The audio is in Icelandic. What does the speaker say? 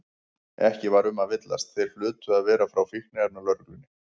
Ekki var um að villast, þeir hlutu að vera frá Fíkniefnalögreglunni.